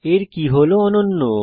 এর কী হল অনন্য